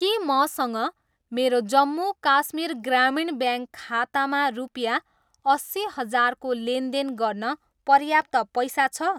के मसँग मेरो जम्मू काश्मीर ग्रामीण ब्याङ्क खातामा रुपियाँ अस्सी हजारको लेनदेन गर्न पर्याप्त पैसा छ?